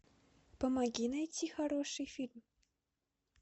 помоги найти хороший фильм